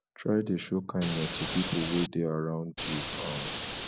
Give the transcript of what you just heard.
try de show kindness to pipo wey de arround you um